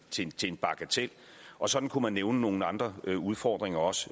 til til en bagatel og sådan kunne man nævne nogle andre udfordringer også